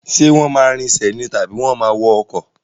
Ṣé wọ́n máa rinsẹ̀ ni tàbí wọ́n máa wọ ọkọ̀?